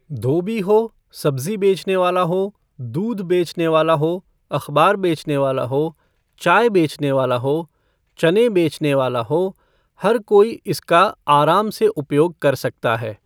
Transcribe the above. धोबी हो, सब्ज़ी बेचनेवाला हो, दूध बेचनेवाला हो, अख़बार बेचनेवाला हो, चाय बेचनेवाला हो, चने बेचनेवाला हो, हर कोई इसका आराम से उपयोग कर सकता है।